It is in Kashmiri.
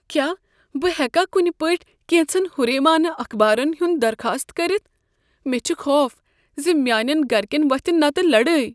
کیٛاہ بہٕ ہیؠکا کنِہ پٲٹھۍ کینژن ہُریمانہ اخبارن ہُند درخاست کٔرتھ؟ مےٚ چھ خوف ز میانین گرکین وۄتھ نتہٕ لڑٲے۔